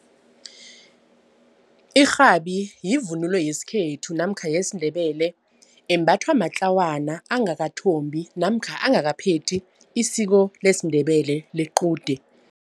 Irhabi yivunulo yesikhethu namkha yesiNdebele embathwa matlawana angakathombi namkha angakaphethi isiko lesiNdebele lequde.